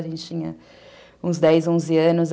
A gente tinha uns dez, onze anos.